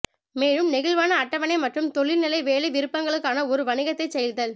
மேலும் நெகிழ்வான அட்டவணை மற்றும் தொலைநிலை வேலை விருப்பங்களுக்கான ஒரு வணிகத்தைச் செய்தல்